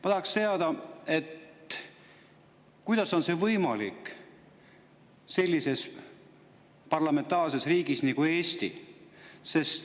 Ma tahaksin teada, kuidas on see võimalik sellises parlamentaarses riigis nagu Eesti.